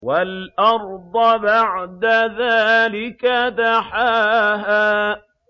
وَالْأَرْضَ بَعْدَ ذَٰلِكَ دَحَاهَا